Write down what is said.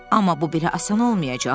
Amma bu bir asan olmayacaq.